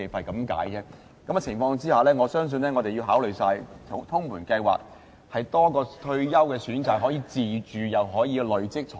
在這種情況下，我相信我們要考慮通盤計劃，增設多一個退休選擇，讓市民既可以有樓宇自住，又可以累積財富。